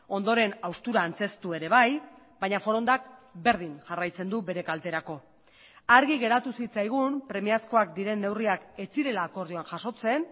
ondoren haustura antzeztu ere bai baina forondak berdin jarraitzen du bere kalterako argi geratu zitzaigun premiazkoak diren neurriak ez zirela akordioan jasotzen